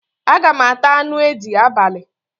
Aga m ata anu edi abali